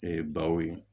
Ee baw ye